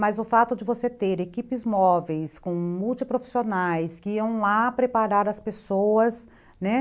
Mas o fato de você ter equipes móveis com multiprofissionais que iam lá preparar as pessoas, né?